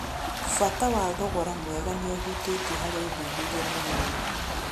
Bata ya thogora mwega nĩũhutĩtio harĩ ũthuthuria mũnini